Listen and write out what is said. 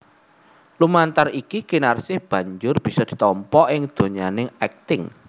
Lumantar iki Kinarsih banjur bisa ditampa ing donyaning akting